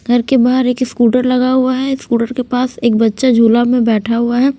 घर के बाहर एक स्कूटर लगा हुआ है स्कूटर के पास एक अच्छा झूला में बेठा हुआ है।